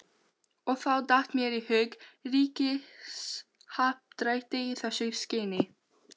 Og þá datt mér í hug ríkishappdrætti í þessu skyni.